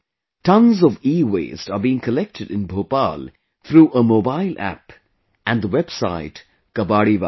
Tonnes of EWaste are being collected in Bhopal through a Mobile App and the Website 'Kabadiwala'